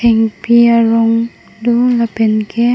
hengpi arong do lapen ke--